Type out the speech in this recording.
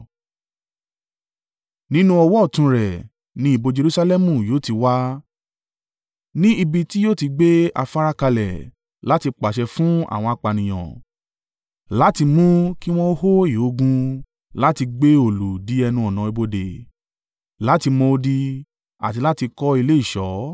Nínú ọwọ́ ọ̀tún rẹ ni ìbò Jerusalẹmu yóò ti wá, ní ibi tí yóò ti gbé afárá kalẹ̀, láti pàṣẹ fún àwọn apànìyàn, láti mú ki wọn hó ìhó ogun láti gbé òòlù dí ẹnu-ọ̀nà ibodè, láti mọ odi, àti láti kọ́ ilé ìṣọ́.